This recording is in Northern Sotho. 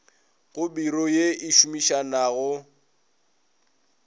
go biro ye e šomišanago